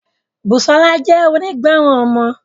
Busola jẹ́ onígbọràn ọmọ.